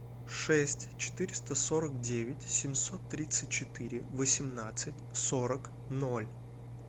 шесть четыреста сорок девять семьсот тридцать четыре восемнадцать сорок ноль